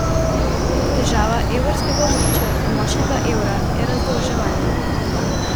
Težava evrskega območja in močnega evra je razdolževanje.